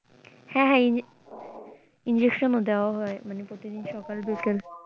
হ্যাঁ হ্যাঁ in~injection ও দেওয়া হয় প্রতিদিন সকাল বিকেল।